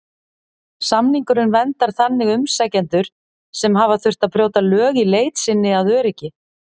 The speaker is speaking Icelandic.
Samningurinn verndar þannig umsækjendur sem hafa þurft að brjóta lög í leit sinni að öryggi.